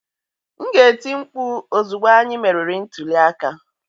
M ga-eti mkpu ozugbo anyị meriri ntuli aka